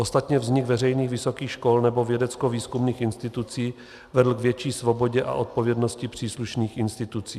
Ostatně vznik veřejných vysokých škol nebo vědeckovýzkumných institucí vedl k větší svobodě a odpovědnosti příslušných institucí.